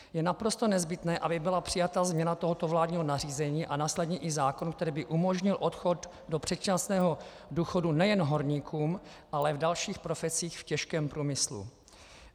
Je naprosto nezbytné, aby byla přijata změna tohoto vládního nařízení a následně i zákon, který by umožnil odchod do předčasného důchodu nejen horníkům, ale v dalších profesích v těžkém průmyslu.